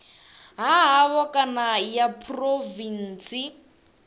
ha havho kana ya phurovintsi